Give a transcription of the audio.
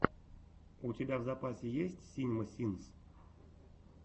у тебя в запасе есть синема синс